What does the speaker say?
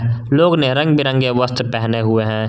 लोग ने रंग बिरंगे वस्त्र पहने हुए हैं।